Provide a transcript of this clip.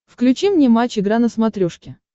включи мне матч игра на смотрешке